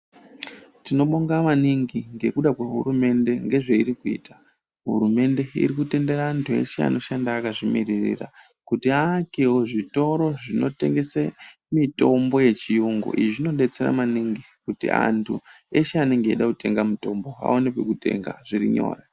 Tinobonga maningi ngekuda kwehurumende ngezveirii kuita hurumende iri kutenderan antu eshe anoshanda akazvimiririra kuti aakwwo zvitoro Zvinotengesa mitombo yechirungu izvi zvinodetsera maningi anenge eida kutenga mitombo aone kwekutenga zviri nyore.